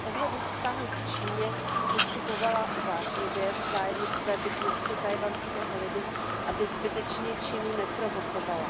Z pohledu vztahu k Číně postupovala uvážlivě v zájmu svébytnosti tchajwanského lidu, aby zbytečně Čínu neprovokovala.